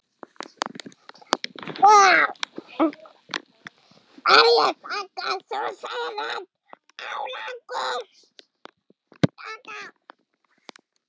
Hverju þakkar þú þennan árangur?